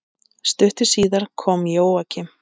Stuttu síðar kom Jóakim.